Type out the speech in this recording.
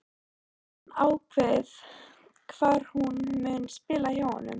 En hefur hann ákveðið hvar hún mun spila hjá honum?